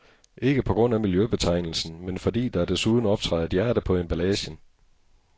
Ikke på grund af miljøbetegnelsen, men fordi der desuden optræder et hjerte på emballagen.